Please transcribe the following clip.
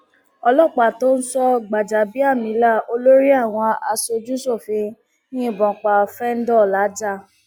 ọlọpàá tó ń sọ gbàjàbíàmílà olórí àwọn aṣojúṣòfin yìnbọn pa fẹńdó làájá